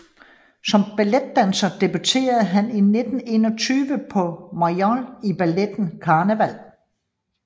Som balletdanser debuterede han i 1921 på Mayol i balletten Carneval